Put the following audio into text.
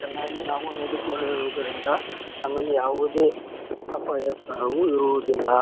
ಚನ್ನಾಗಿ ನೋಡಿಕೊಳ್ಳುವುದರಿಂದ ನಮಗೆ ಯಾವುದೇ ಅಪಾಯ ಕರವು ಇರುವುದಿಲ್ಲಾ .